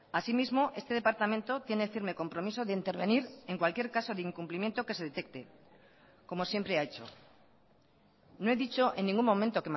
así mismo este departamento tiene firme compromiso de intervenir en cualquier caso de incumplimiento que se detecte como siempre ha hecho no he dicho en ningún momento